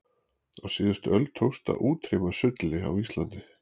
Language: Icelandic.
á síðustu öld tókst að útrýma sulli á íslandi